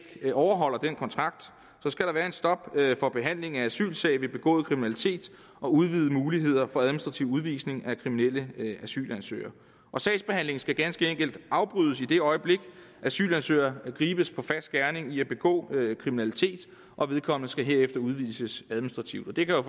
overholder den kontrakt der skal være et stop for behandling af asylsagen ved begået kriminalitet og udvidede muligheder for administrativ udvisning af kriminelle asylansøgere sagsbehandlingen skal ganske enkelt afbrydes i det øjeblik en asylansøger gribes på fersk gerning i at begå kriminalitet og vedkommende skal herefter udvises administrativt det kan